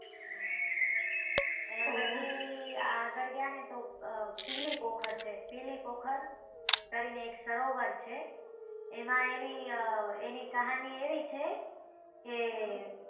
એના પછી આગળ ગયા તો પીલીપોખર છે પીલીપોખર કરી ને એક સરોવર છે એમાં એની કહાની એવી છે.